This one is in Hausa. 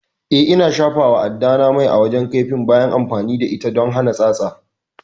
Eh, Ina shafawa addata mai a wajen kaifin bayan amfani da ita don hana tsatsa